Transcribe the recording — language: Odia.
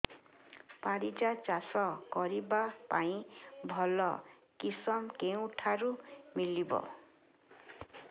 ପାରିଜାତ ଚାଷ କରିବା ପାଇଁ ଭଲ କିଶମ କେଉଁଠାରୁ ମିଳିବ